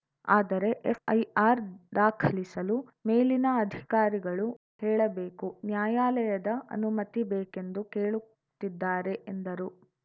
ಆದರೆ ಎಫ್‌ಐಆರ್‌ ದಾಖಲಿಸಲು ಮೇಲಿನ ಅಧಿಕಾರಿಗಳು ಹೇಳಬೇಕು ನ್ಯಾಯಾಲಯದ ಅನುಮತಿ ಬೇಕೆಂದು ಕೇಳುತ್ತಿದ್ದಾರೆ ಎಂದರು